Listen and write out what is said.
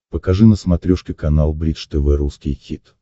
покажи на смотрешке канал бридж тв русский хит